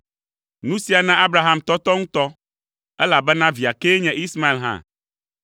Nu sia na Abraham tɔtɔ ŋutɔ, elabena via kee nye Ismael hã.